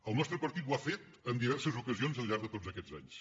el nostre partit ho ha fet en diverses ocasions al llarg de tots aquests anys